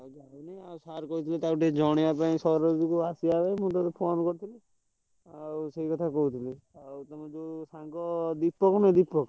Sir କହିଥିଲେ ତାକୁ ଟିକେ ଜଣେଇବା ପାଇଁ ସରୋଜ କୁ ଆସିବା ପାଇଁ ମୁଁ ତତେ phone କରିଥିଲି ଆଉ ସେଇ କଥା କହୁଥିଲି ଆଉ ତମର ଯୋଉ ସାଙ୍ଗ ଦୀପକ ନୁହଁ ଦୀପକ।